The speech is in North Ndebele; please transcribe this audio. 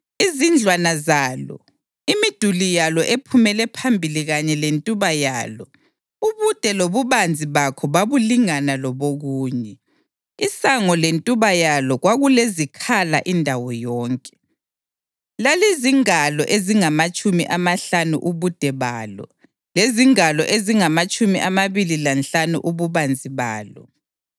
Izindlwana zalo, imiduli yalo ephumele phambili kanye lentuba yalo, ubude lobubanzi bakho babulingana lobokunye. Isango lentuba yalo kwakulezikhala indawo yonke. Lalizingalo ezingamatshumi amahlanu ubude balo lezingalo ezingamatshumi amabili lanhlanu ububanzi balo.